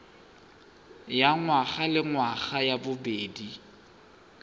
ya ngwagalengwaga ya bobedi ya